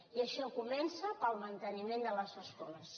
i això comença pel manteniment de les escoles